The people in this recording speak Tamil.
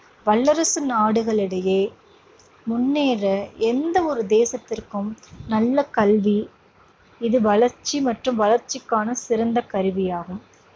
வல்லரசு நாடுகளிடையே முன்னேற எந்த ஒரு தேசத்திற்கும் நல்ல கல்வி இது வளர்ச்சி மற்றும் வளர்ச்சிக்கான சிறந்த கருவியாகும்.